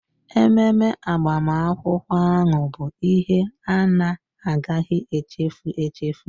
Ememe agbamakwụkwọ ahụ bụ ihe a na-agaghị echefu echefu